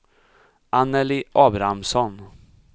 Annelie Abrahamsson